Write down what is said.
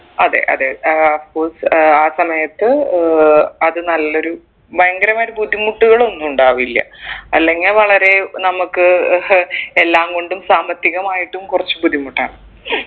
അതെ അതെ ആഹ് of course ആഹ് ആ സമയത്ത് ഏർ അത് നല്ലൊരു ഭയങ്കരമായിട്ട് ബുദ്ധിമുട്ടിക്കുകളൊന്നു ഉണ്ടാവില്ല അല്ലെങ്കിൽ വളരെ നമ്മക്ക് ഏർ എല്ലാംകൊണ്ടും സാമ്പത്തികമായിട്ടും കുറച്ചു ബുദ്ധിമുട്ടാണ്